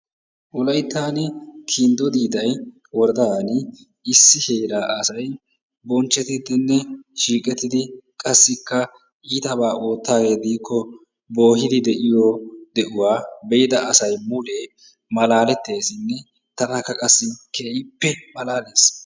Wolayttan kinddo diidaye woradaan issi heeraa asay bochchetidinne siiqaettidi qassi itabaa oottaagee diikko boohidi de'iyoo de'uwaa be'ida asay mulee malaaletesinne tanakka qassi keehippe malaalees.